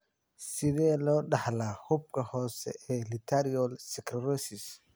Sidee loo dhaxlaa xuubka hoose ee lateral sclerosis?